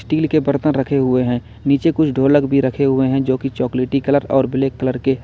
Steel के बर्तन रखे हुए हैं। नीचे कुछ ढ़ोलक भी रखे हुए हैं जो कि चॉकलेटी कलर और ब्लैक कलर के --